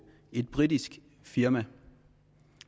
et britisk firma